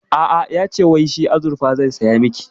A'a, yace wai shi azurfa zai saya miki